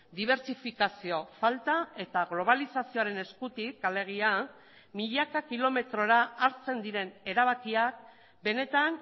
dibertsifikazio falta eta globalizazioaren eskutik alegia milaka kilometrora hartzen diren erabakiak benetan